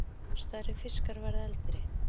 Stærri fiskar verða eldri.